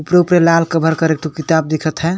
प्रो पे लाला कवर कर एक ठो किताब देखत है।